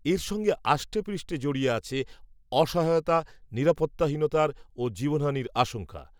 এর সঙ্গে আষ্টেপৃষ্টে জড়িয়ে আছে, অসহায়তা, নিরাপত্তাহীনতার, ও জীবনহানির আশঙ্কা